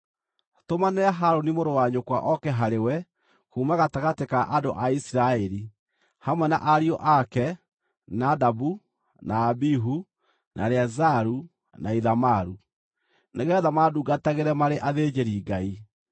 “Tũmanĩra Harũni mũrũ wa nyũkwa oke harĩwe kuuma gatagatĩ ka andũ a Isiraeli, hamwe na ariũ ake Nadabu na Abihu, na Eleazaru na Ithamaru, nĩgeetha mandungatagĩre marĩ athĩnjĩri-Ngai.